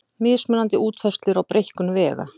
Mismunandi útfærslur á breikkun vega